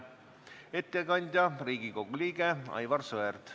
Ettekandja on Riigikogu liige Aivar Sõerd.